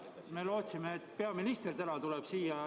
Me lootsime, et peaminister tuleb täna siia.